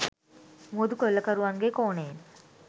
මුහුදු කොල්ලකරුවන්ගේ කෝණයෙන්